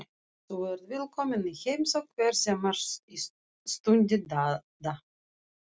Þú ert velkominn í heimsókn hvenær sem er stundi Dadda.